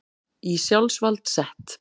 Í sjálfsvald sett